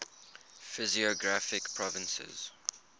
physiographic provinces